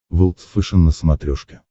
волд фэшен на смотрешке